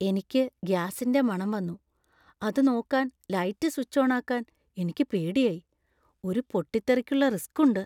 എനിക്ക് ഗ്യാസിന്‍റെ മണം വന്നു , അത് നോക്കാൻ ലൈറ്റ് സ്വിച്ച് ഓണാക്കാൻ എനിക്ക് പേടിയായി . ഒരു പൊട്ടിത്തെറിക്കുള്ള റിസ്ക് ഉണ്ട്.